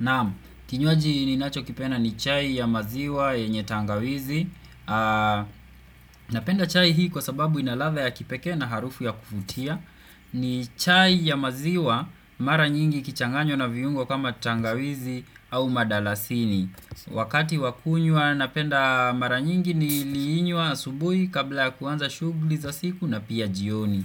Naam, kinywaji ninachokipenda ni chai ya maziwa yenye tangawizi Napenda chai hii kwa sababu ina ladha ya kipekee na harufu ya kuvutia ni chai ya maziwa mara nyingi ikichanganywa na viungo kama tangawizi au madalasini Wakati wa kunywa napenda mara nyingi niliinywa asubuhi kabla ya kuanza shughuli za siku na pia jioni